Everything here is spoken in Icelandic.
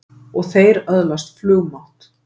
Og þeir öðlast flugmátt!